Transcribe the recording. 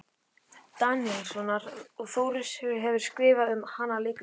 Daníelssonar, og Þórunn Sigurðardóttir hefur skrifað um hana leikrit.